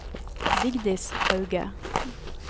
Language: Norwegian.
Vigdis Hauge